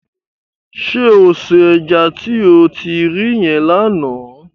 Ṣé o se ẹja tí o ti ri yẹn lánàá?